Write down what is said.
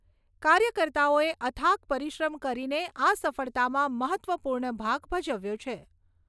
કાર્યકર્તાઓએ અથાક પરિશ્રમ કરીને આ સફળતામાં મહત્ત્વપૂર્ણ ભાગ ભજવ્યો છે.